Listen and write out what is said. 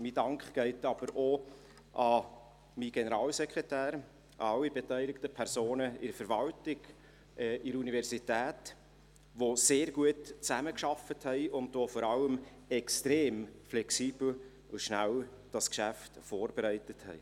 Mein Dank geht auch an meinen Generalsekretär, an alle beteiligten Personen von Verwaltung und Universität, die sehr gut zusammengearbeitet und dieses Geschäft vor allem extrem flexibel und schnell vorbereitet haben.